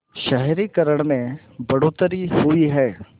शहरीकरण में बढ़ोतरी हुई है